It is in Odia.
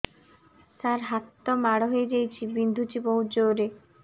ସାର ହାତ ମାଡ଼ ହେଇଯାଇଛି ବିନ୍ଧୁଛି ବହୁତ ଜୋରରେ